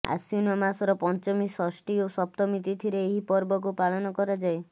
ଆଶ୍ୱୀନ ମାସର ପଞ୍ଚମୀ ଷଷ୍ଠୀ ଓ ସପ୍ତମୀ ତିଥିରେ ଏହି ପର୍ବକୁ ପାଳନ କରାଯାଏ